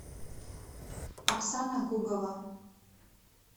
оксана гугова